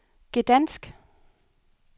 Gdansk